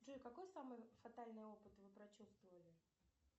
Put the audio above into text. джой какой самый фатальный опыт вы прочувствовали